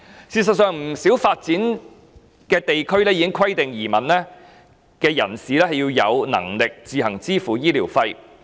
事實上，不少已發展地區已規定移民人士必須有能力自行支付醫療費。